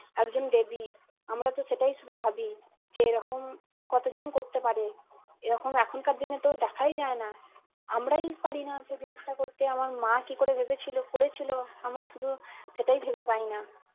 একজন দেবী আমরাতো সেটাই শুধু ভাবি যে এরকম কতজন করতে পারে এরকম এখনকার দিনে তো দেখাই যায় না আমরাই পারিনা সেই জিনিটা করতে আমার মা কি করে ভেবেছিলো করেছিল আমরা শুধু সেটাই ভেবে পাই না